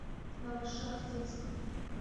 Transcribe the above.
новошахтинск